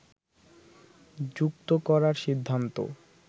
যুক্ত করার সিদ্ধান্ত